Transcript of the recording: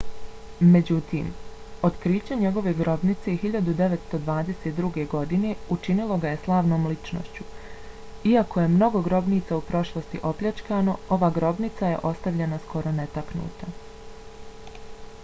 međutim otkriće njegove grobnice 1922. godine učinilo ga je slavnom ličnošću. iako je mnogo grobnica u prošlosti opljačkano ova grobnica je ostavljena skoro netaknuta